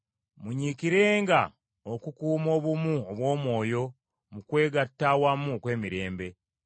Munyiikirenga okukuuma obumu obw’Omwoyo mu kwegatta awamu okw’emirembe.